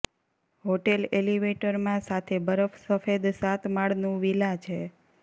hotel એલિવેટરમાં સાથે બરફ સફેદ સાત માળનું વિલા છે